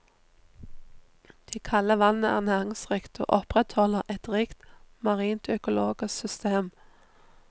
Det kalde vannet er næringsrikt og opprettholder et rikt marint økologisk system.